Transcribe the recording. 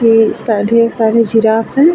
ढेर ढेर सारे जिराफ है ।